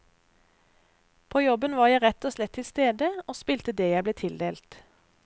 På jobben var jeg rett og slett tilstede og spilte det jeg ble tildelt.